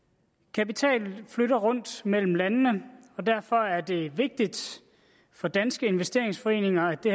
kapital flytter rundt mellem landene og derfor er det vigtigt for danske investeringsforeninger at det